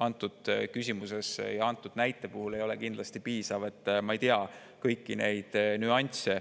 antud näite puhul ei ole kindlasti piisav, ma ei tea kõiki neid nüansse.